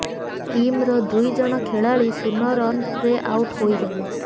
team ର ଦୁଇଜଣ ଖେଳାଳି ସୁନ ରନ ରେ ଆଉଟ ହେଇଗଲେ